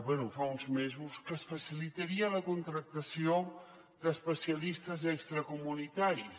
bé fa uns mesos que es facilitaria la contractació d’especialistes extracomunitaris